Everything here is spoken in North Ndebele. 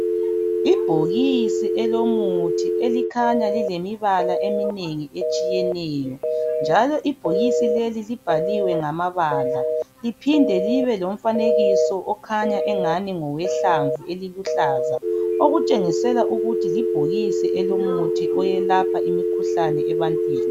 Ibhokisi elomuthi elikhanya lilemibala emimengi etshiyeneyo njalo ibhokisi leli libhaliwe ngamabala liphinde libe lomfanekiso okhanya engani ngowehlamvu eliluhlaza. Okutshengisela ukuthi libhokisi elomuthi oyelapha imikhuhlane ebantwini.